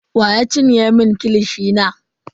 Wa ya cinye mun kilishi na?